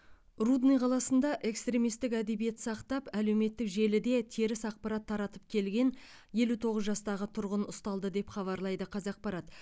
рудный қаласында экстремистік әдебиет сақтап әлеуметтік желіде теріс ақпарат таратып келген елу тоғыз жастағы тұрғын ұсталды деп хабарлайды қазақпарат